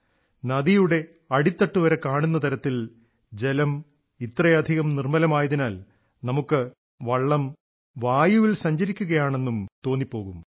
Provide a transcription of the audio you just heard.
നദിയുടെ അടിത്തട്ടുവരെ കാണുന്ന തരത്തിൽ ജലം ഇത്രയധികം നിർമ്മലമായതിനാൽ നമുക്ക് വള്ളം വായുവിൽ സഞ്ചരിക്കുകയാണെന്നും തോന്നിപ്പോകും